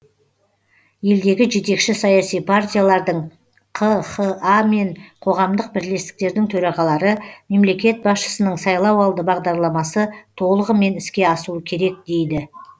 елдегі жетекші саяси партиялардың қха мен қоғамдық бірлестіктердің төрағалары мемлекет басшысының сайлауалды бағдарламасы толығымен іске асуы керек дейді